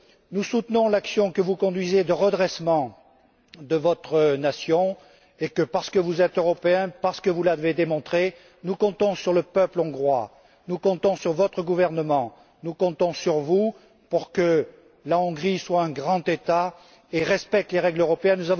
Nous soutenons l'action que vous conduisez de redressement de votre nation. De plus, parce que vous êtes européen, parce que vous l'avez démontré, nous comptons sur le peuple hongrois, nous comptons sur votre gouvernement, nous comptons sur vous pour que la Hongrie soit un grand État et respecte les règles européennes.